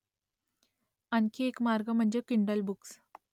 आणखी एक मार्ग म्हणजे किंडल बुक्स